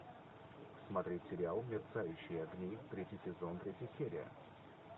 смотреть сериал мерцающие огни третий сезон третья серия